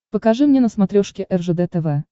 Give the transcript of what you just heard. покажи мне на смотрешке ржд тв